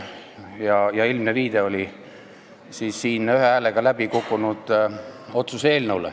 See oli ilmne viide siin ühe häälega läbi kukkunud otsuse eelnõule.